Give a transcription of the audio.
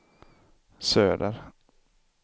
söder